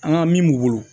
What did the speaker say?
An ka min b'u bolo